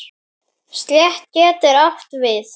Stétt getur átt við